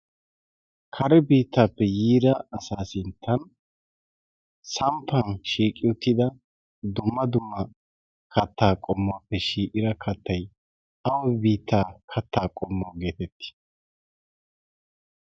kare biittaappe yiira asaa sinttan samppan shiiqi uttida dumma dumma kattaa qommuwaappe shii'ira kattay ay biittaa kattaa qommwa geetettii?